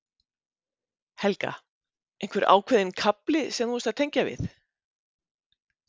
Helga: Einhver ákveðinn kafli sem þú varst að tengja við?